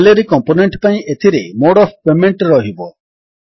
salary component ପାଇଁ ଏଥିରେ mode of payment ରହିବ